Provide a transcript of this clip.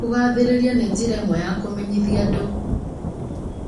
Kũgathĩrĩria nĩ njĩra ĩmwe ya kũmenyithia andũ